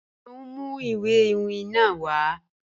Ṣe o n mu iwe iwin naa wa?